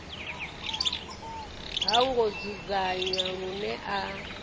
ha ngo dzudzanywa lune a